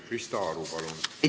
Krista Aru, palun!